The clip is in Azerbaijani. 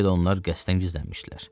Bəlkə də onlar qəsdən gizlənmişdilər.